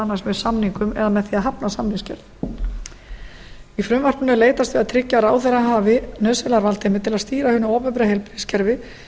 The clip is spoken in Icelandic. annars með samningum eða með því að hafna samningsgerð í frumvarpinu er leitast við að tryggja að ráðherra hafi nauðsynlega valdheimild til að stýra hinu opinbera heilbrigðiskerfi